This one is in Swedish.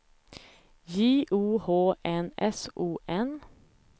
J O H N S O N